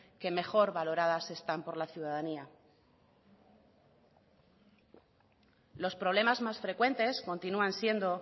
que mejor valoradas están por la ciudadanía los problemas más frecuentes continúan siendo